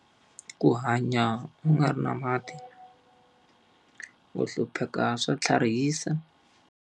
Ku hanya u nga ri na mati, ku hlupheka swa tlharihisa.